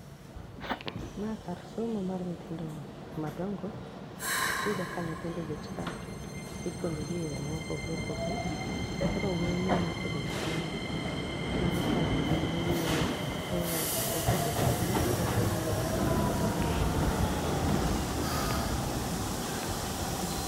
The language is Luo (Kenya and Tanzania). Ma kar somo mar nyithindo madongo, tiyudo ka nyithindo obet ka, ipuonjogi e yore mopogre opogre. Koro wuoyi mineno kobet kanyo no, mano kargi mar yueyo, ko osebet ahinya to owinjo ni mondo oyue tobiro bet kanyo toyueyo.